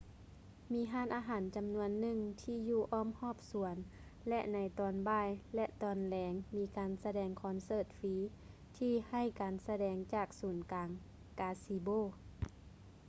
ມີຮ້ານອາຫານຈຳນວນໜຶ່ງທີ່ຢູ່ອ້ອມຮອບສວນ ແລະ ໃນຕອນບ່າຍ ແລະ ຕອນແລງມີການສະແດງຄອນເສີດຟຼີ ທີ່ໃຫ້ການສະແດງຈາກສູນກາງກາຊິໂບ